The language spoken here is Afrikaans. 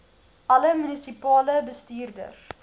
alle munisipale bestuurders